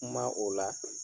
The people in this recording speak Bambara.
Kuma o la